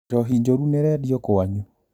Njohi njũru nĩĩrendio kwanyu?